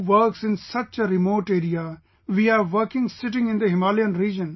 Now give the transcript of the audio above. Who works in such a remote area, we are working sitting in the Himalayan region